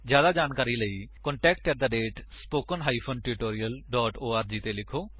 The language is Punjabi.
ਜਿਆਦਾ ਜਾਣਕਾਰੀ ਲਈ ਕ੍ਰਿਪਾ ਕੰਟੈਕਟ ਸਪੋਕਨ ਟਿਊਟੋਰੀਅਲ ਓਰਗ ਉੱਤੇ ਲਿਖੀਏ